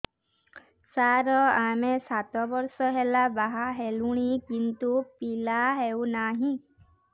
ସାର ଆମେ ସାତ ବର୍ଷ ହେଲା ବାହା ହେଲୁଣି କିନ୍ତୁ ପିଲା ହେଉନାହିଁ